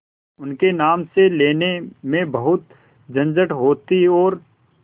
उनके नाम से लेने में बहुत झंझट होती और